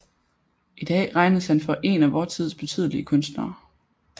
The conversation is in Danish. I dag regnes han for een af vor tids betydeligste kunstnere